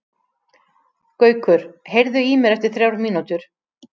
Gaukur, heyrðu í mér eftir þrjár mínútur.